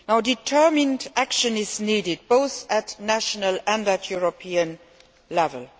Determined action is needed, both at national and at European level.